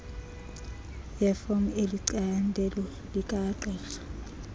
yefom elicandelo likagqirha